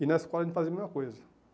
E na escola a gente fazia a mesma coisa.